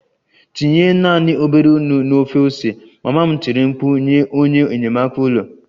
Tinye naanị obere nnu na ofe ose! Mama m tiri mkpu nye onye enyamaka ụlọ